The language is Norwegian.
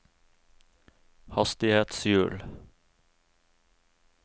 hastighetshjul